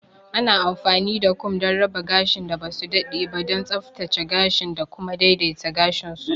Ana amfani da kum don raba gashin da ba su daɗe ba, don tsaftace gashin da kuma daidaita gashin su.